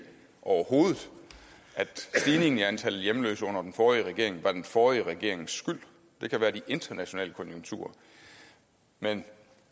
at stigningen i antallet af hjemløse under den forrige regering var den forrige regerings skyld det kan være de internationale konjunkturer men